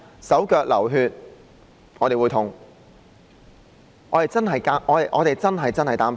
手腳流血，我們會痛，我們真的很擔心。